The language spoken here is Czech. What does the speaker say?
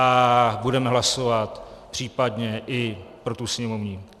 A budeme hlasovat případně i pro tu sněmovní.